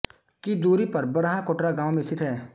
की दूरी पर बरहा कोटरा गांव में स्थित है